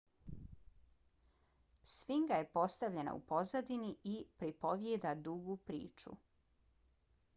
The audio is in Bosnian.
sfinga je postavljena u pozadini i pripovjeda dugu priču